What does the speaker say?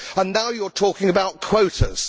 And now you are talking about quotas.